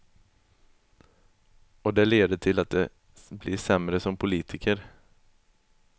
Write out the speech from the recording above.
Och det leder till att de blir sämre som politiker.